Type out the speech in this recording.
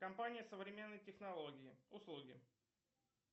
компания современные технологии услуги